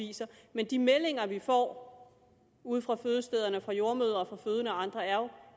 viser men de meldinger vi får ude fra fødestederne fra jordemødre og fra fødende og andre er jo